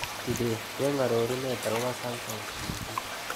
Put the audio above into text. Kibet cheng' arorunet agoboo samsung t. v.